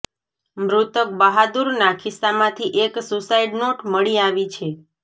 મૃતક બહાદુરના ખિસ્સામાંથી એક સુસાઈડ નોટ મળી આવી છે